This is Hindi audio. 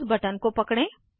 माउस बटन को पकड़ें